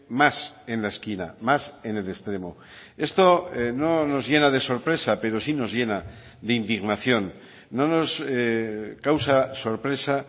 más en la esquina más en el extremo esto no nos llena de sorpresa pero sí nos llena de indignación no nos causa sorpresa